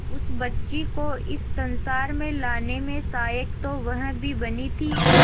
उस बच्ची को इस संसार में लाने में सहायक तो वह भी बनी थी